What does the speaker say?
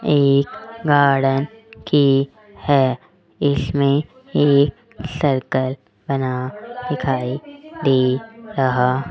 एक गार्डन की है इसमें एक सर्कल बना दिखाई दे रहा --